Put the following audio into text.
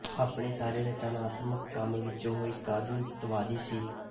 ਆਪਣੇ ਸਾਰੇ ਰਚਨਾਤਮਕ ਕੰਮ ਵਿੱਚ ਉਹ ਇੱਕ ਆਧੁਨਿਕਤਾਵਾਦੀ ਸੀ